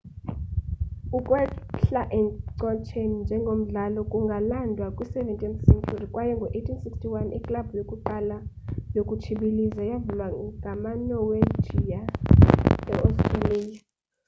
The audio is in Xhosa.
ukwehla encotsheni njengomdlalo kungalandwa kwi 17th century kwaye ngo 1861 iklabhu yokuqala yokutshibiliza yavulwa ngama norwegia e-australia